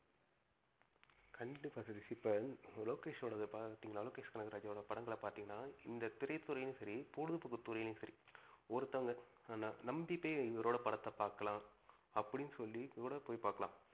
கண்டிப்பா சதீஷ். இப்ப லோகேஷ் ஓடத பாத்திங்கனா லோகேஷ் கனகராஜ் ஓட படங்கள பாத்திங்கனா இந்த திரை துறைளையும் சரி, பொழுதுபோக்கு துறைளையும் சரி ஒருத்தவங்க நம்பிட்டே இவரோட படத்த பார்க்கலாம். அப்டின்னு சொல்லி போயி பார்க்கலாம்.